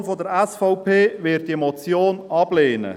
Die Fraktion der SVP wird diese Motion ablehnen.